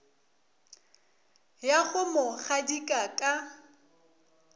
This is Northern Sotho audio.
ya go mo gadika ka